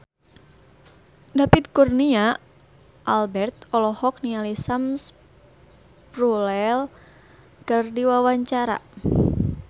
David Kurnia Albert olohok ningali Sam Spruell keur diwawancara